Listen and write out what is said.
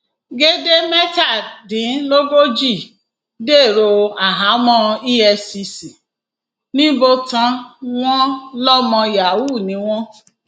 gèdè mẹtàdínlógójì dèrò àhámọ efcc nìbòtán wọn lọmọ yahoo ni wọn